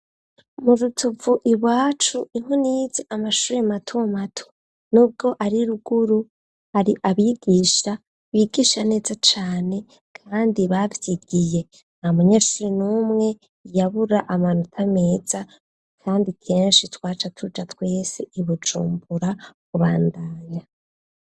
Mu rutuvu iwacu niho nize amashure mato mato n'ubwo ari ruguru hari abigisha bigisha neza cane kandi bavyigiye. Nta munyeshuri n'umwe yabura amanota meza kandi kenshi twaca tuja twese i Bujumbura kubandanya.